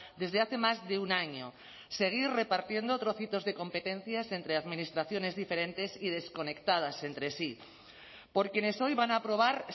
desde hace más de un año seguir repartiendo trocitos de competencias entre administraciones diferentes y desconectadas entre sí por quienes hoy van a aprobar